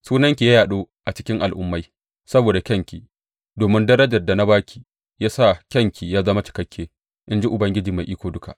Sunanki ya yaɗu a cikin al’ummai saboda kyanki, domin darajar da na ba ki ya sa kyanki ya zama cikakke, in ji Ubangiji Mai Iko Duka.